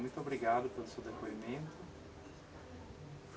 Muito obrigado pelo seu depoimento.